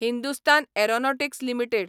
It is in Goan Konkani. Hindustan aeronautics limited